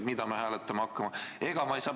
Mida me hääletama hakkame?